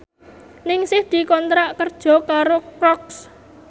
Ningsih dikontrak kerja karo Crocs